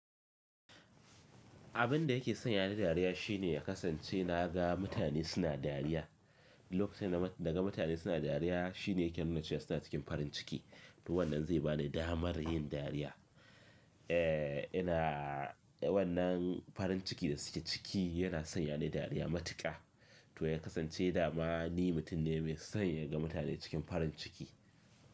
Abin da yake sanya ni dariya shine ya kasance na ga mutane suna dariya. Lokacin da naga mutane suna dariya shine yake nuna cewa suna cikin farin ciki to wannan zai bani damar yin dariya. Eh, ina wannan farin ciki da suke ciki yana sanya ni dariya matuƙa. To ya kasance dama ni mutum ne mai son ya ga mutane cikin farin ciki.